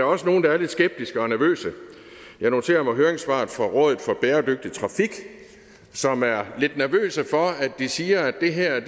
også nogle der er lidt skeptiske og nervøse jeg noterer mig høringssvaret fra rådet for bæredygtig trafik som er lidt nervøse for de siger at det her